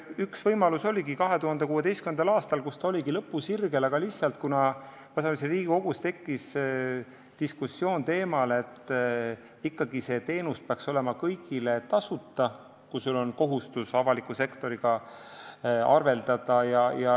Üks võimalus oligi 2016. aastal, kui ta oligi lõpusirgel, aga ma sain aru, et Riigikogus tekkis diskussioon teemal, et see teenus peaks olema ikkagi kõigile tasuta, kui on kohustus avaliku sektoriga arveldada.